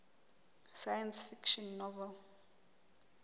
science fiction novel